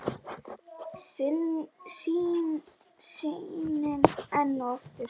Sýnin enn og aftur.